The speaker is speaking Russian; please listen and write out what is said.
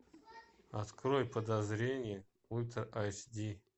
открой подозрение ультра аш ди